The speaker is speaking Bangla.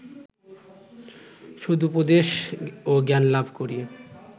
সদুপদেশ ও জ্ঞানলাভ করি